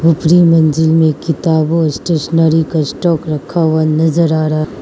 ऊपरी मंजिल में किताब और स्टेशनरी का स्टॉक रखा हुआ नजर आ रहा --